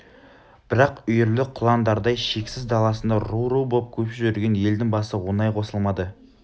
бірақ үйірлі құландардай шексіз даласында ру-ру боп көшіп жүрген елдің басы оңай қосылмады